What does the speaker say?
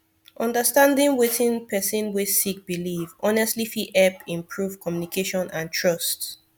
understanding wetin person wey sik biliv honestly fit hep improve communication and trust